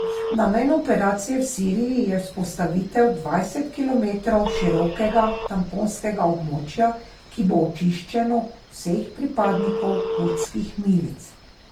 Namen operacije v Siriji je vzpostavitev dvajset kilometrov širokega tamponskega območja, ki bo očiščeno vseh pripadnikov kurdskih milic.